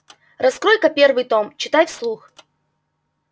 раскрой-ка первый том читай вслух